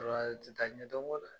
Ti taa ɲɛdɔn kɔ